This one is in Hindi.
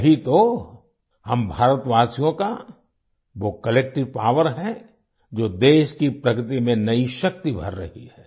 यही तो हम भारतवासियों का वो कलेक्टिव पॉवर है जो देश की प्रगति में नई शक्ति भर रही है